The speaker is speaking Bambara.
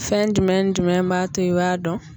Fɛn jumɛn ni jumɛn b'a to i b'a dɔn.